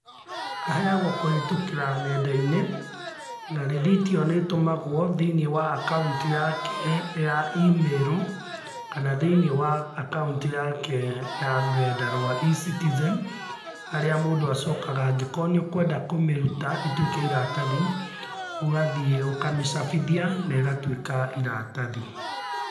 Aheagwo kũhĩtũkĩra nenda-inĩ, na rithiti ĩyo nĩtũmagwo thĩ-inĩ wa akaunti yake ya email, kana thĩ-inĩ wa akaunti yake ya rũrenda rwa E-citizen, harĩa mũndũ acokaga angĩkorwo nĩũkwenda kũmĩruta ĩtuĩke iratathi, ũgathiĩ ũkamĩcabithia na ĩgatuĩka iratathi.